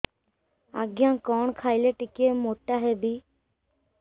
ଆଜ୍ଞା କଣ୍ ଖାଇଲେ ଟିକିଏ ମୋଟା ହେବି